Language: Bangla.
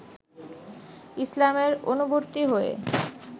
ইসলামের অনুবর্তী হয়ে